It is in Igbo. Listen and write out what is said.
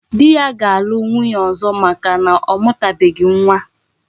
Di ya ga alu nwunye ozo maka na omutabeghi nwa